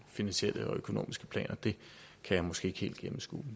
finansielle og økonomiske planer det kan jeg måske ikke helt gennemskue